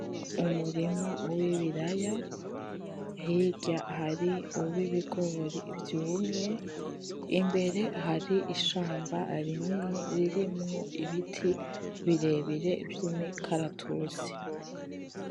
Umurima w'ibiraya, hirya hari uw'ibigori vyumye. Imbere, hari ishamba rinini ririmwo ibiti birebire vy'imikaratusi.